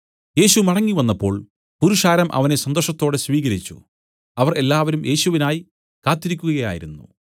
യേശു മടങ്ങിവന്നപ്പോൾ പുരുഷാരം അവനെ സന്തോഷത്തോടെ സ്വീകരിച്ചു അവർ എല്ലാവരും യേശുവിനായി കാത്തിരിക്കുകയായിരുന്നു